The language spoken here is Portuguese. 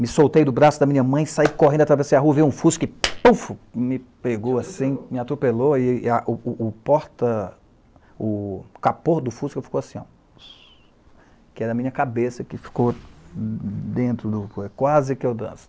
Me soltei do braço da minha mãe, saí correndo, atravessei a rua, vi um fusca e... me pegou assim, me atropelou, e o porta... o capô do fusca ficou assim, ó. Que era a minha cabeça, que ficou dentro do... quase que eu danço.